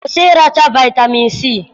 kwụsị ịracha vitamin C